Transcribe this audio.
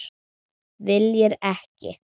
Viljir ekki.